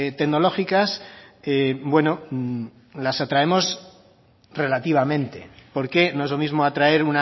tecnológicas bueno las atraemos relativamente porque no es lo mismo atraer